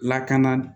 Lakana